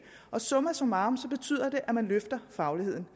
summa summarum betyder det at man løfter fagligheden